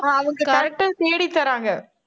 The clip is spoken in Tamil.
அவங்க correct ஆ, தேடி தர்றாங்க